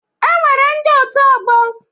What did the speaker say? E nwere ndị otu ọgbọ.